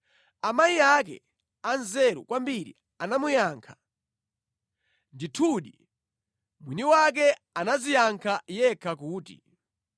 Amayi ake anzeru kwambiri anamuyankha, ndithudi, mwiniwake anadziyankha yekha kuti,